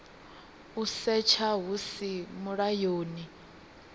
u setsha hu si mulayoni